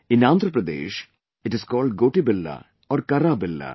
In Andhra Pradesh it is called Gotibilla or Karrabilla